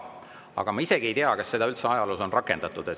Aga ma ei tea, kas seda üldse ajaloos on rakendatud.